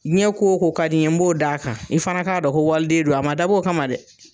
Diɲɛ ko ko ka d'i ye n b'o d'a kan, i fana k'a dɔn ko wali den don, a ma dabɔ o kama dɛ